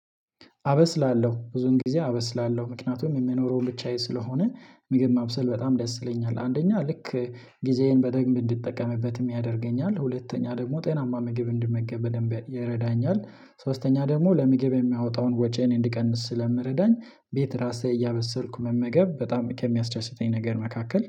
አበስላለሁ ብዙን ጊዜ አበስላለሁ ምክንያቱም የሚኖረው ብቻዬ ስለሆነ ምግብ ማብሰል በጣም ደስ ይለኛል አንደኛ ልክ ጊዜዬን በደንብ እንድጠቀምበትም ያደርገኛል። ሁለተኛ ደግሞ ጤናማ ምግብ እንድመገብም ይረዳኛል ሶስተኛ ደግሞ ለምግብ የሚያወጣውን ወጪ እኔ እንድቀንስ ስለሚረዳኝ ቤት ራሴ እያበሰልኩ መመገብ በጣም ከሚያስደስተኝ ነገር መካከል